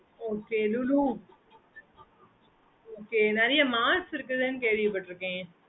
okay mam